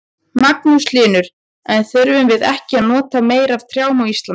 Magnús Hlynur: En þyrftum við ekki að nota meira af trjám á Íslandi?